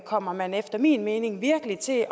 kommer man efter min mening virkelig til at